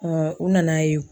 u nana ye